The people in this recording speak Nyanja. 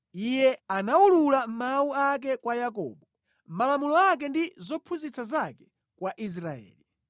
Iye anawulula mawu ake kwa Yakobo, malamulo ake ndi zophunzitsa zake kwa Israeli.